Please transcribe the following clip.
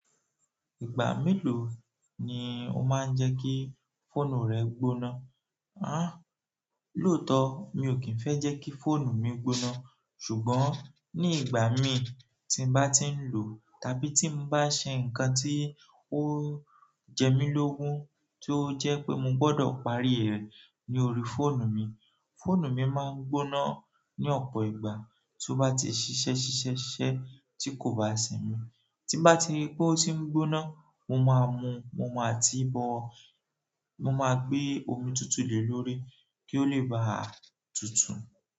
Ìgbà mélòó ni ó máa ń jẹ́ kí fóònù rẹ gbóná? Hàà lóòótọ́ mi ò kí ń fẹ́ jẹ́ kí fóònù mi gbóná, ṣùgbọ́n ní ìgbà mi tí n bá ti ń lò tàbí tí mo bá ṣe nǹkan tí ó jẹ́ mí lógún tí ó jẹ́ pé mo gbọdọ̀ parí rẹ̀ ní orí fóònù mi, fóònù mi máa ń gbóná ní ọ̀pọ̀ ìgbà tó bá ti ṣiṣẹ́ ṣiṣẹ́ ṣiṣẹ́ tí kò bá sin mi. Ti n bá ti rí pé ó ti ń gbóná, mo máa mu u, mo máa ti bọ, mo máa gbé omi tutù lè lórí kí ó lè baà tútù.